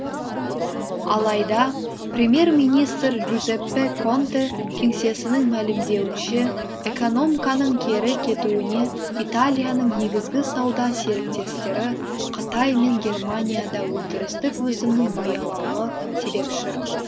алайда премьер министр джузеппе конте кеңсесінің мәлімдеуінше экономканың кері кетуіне италияның негізгі сауда серіктестері қытай мен германияда өндірістік өсімнің баяулауы себепші